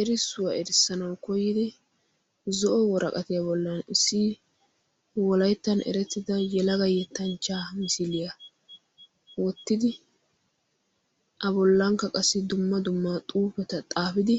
Erissuwaa erssanawu koyiddi zo'o woraqqittiya bollan issi wolayttan erettidda yelagga yettanchcha misiiliyaa wottidi a bollanikka qassi dumma dumma xuupetta xaapiddi